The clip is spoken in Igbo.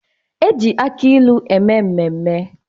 E ji aki ilu eme mmemme